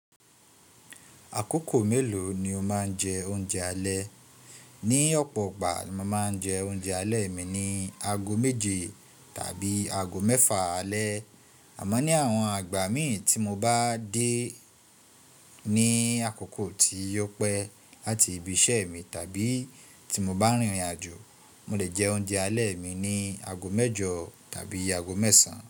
Àkókò mélòó ni o máa ń jẹ oúnjẹ alẹ́? Ní ọ̀pọ̀ ìgbà ni mo máa ń jẹ oúnjẹ alẹ́ mi ní ago méje tàbí ago mẹ́fà alẹ́. Àmọ́ ní àwọn àgbà míì tí mo bá dé ní àkókò tí opẹ́ láti ibi iṣẹ́ mi tàbí tí mo bá rìnrìn-àjò, mo lè jẹ oúnjẹ alẹ́ mi ní ago mẹ́jọ tàbí ago mẹ́sàn.